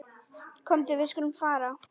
Komdu, við skulum fara.